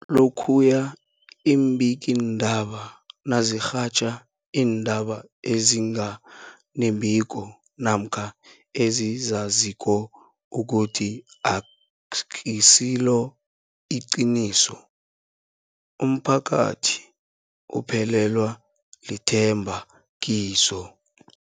Lokhuya iimbikiindaba nazirhatjha iindaba ezinga nembiko namkha ezizaziko ukuthi azisiliqiniso, umphakathi uphelelwa lithemba kizo.